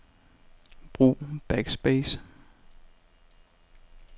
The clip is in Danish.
Brug backspace.